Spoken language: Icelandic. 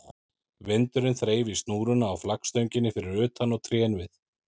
Vindurinn þreif í snúruna á flaggstönginni fyrir utan og trén við